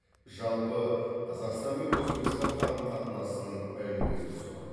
жалпы қазақстан мен өзбекстан қарым қатынасының әлеуеті зор